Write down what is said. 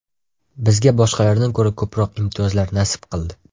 Bizga boshqalardan ko‘ra ko‘proq imtiyozlar nasib qildi.